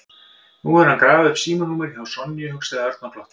Nú hefur hann grafið upp símanúmerið hjá Sonju, hugsaði Örn og glotti.